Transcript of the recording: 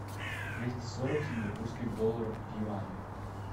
двести сорок сингапурских долларов в юанях